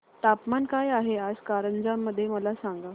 तापमान काय आहे आज कारंजा मध्ये मला सांगा